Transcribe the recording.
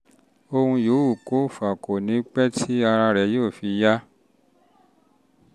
ohun yòówù kó fà á kò ní kò ní pẹ́ tí ara rẹ yóò fi yá